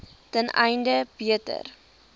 ten einde beter